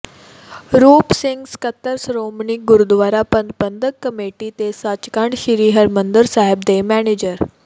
ਰੂਪ ਸਿੰਘ ਸਕੱਤਰ ਸ਼੍ਰੋਮਣੀ ਗੁਰਦੁਆਰਾ ਪ੍ਰਬੰਧਕ ਕਮੇਟੀ ਤੇ ਸੱਚਖੰਡ ਸ੍ਰੀ ਹਰਿਮੰਦਰ ਸਾਹਿਬ ਦੇ ਮੈਨੇਜਰ ਸ